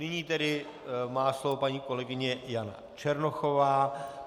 Nyní tedy má slovo paní kolegyně Jana Černochová.